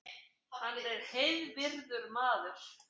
Hann er heiðvirður maður